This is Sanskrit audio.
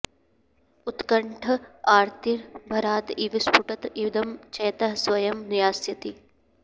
उत्कण्ठ आर्ति भरात् इव स्फुटत् इदम् चेतः स्वयम् यास्यति